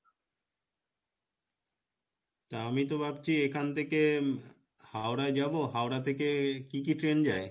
তা আমি তো ভাবছি এখান থেকে হাওড়া যাবো হাওড়া থেকে কী কী train যাই?